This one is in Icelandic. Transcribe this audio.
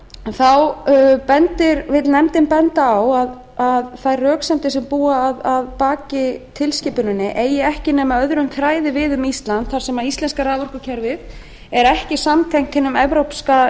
þá vill nefndin benda á að þær röksemdir sem búa að baki tilskipuninni eigi ekki nema öðrum þræði við um ísland þar sem íslenska raforkukerfi er ekki samtengt hinum evrópska